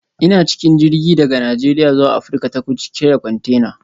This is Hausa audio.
Ina cikin jirgi daga Najeriya zuwa Afirka ta Kudu cike da kwantena.